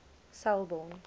selbourne